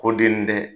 Ko den nin tɛ